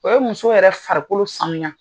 O ye musow yɛrɛ farikolo sanuya